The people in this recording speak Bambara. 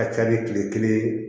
A ka ca ni kile kelen ye